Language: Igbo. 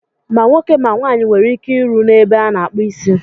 Ma nwoke ma nwaanyị nwere ike ịrụ n'ebe a na-akpụ isi.